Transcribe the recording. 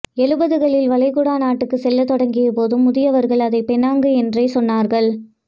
எழுபதுகளில் வளைகுடா நாட்டுக்குச் செல்லத் தொடங்கியபோதும் முதியவர்கள் அதை பெனாங்கு என்றே சொன்னார்கள்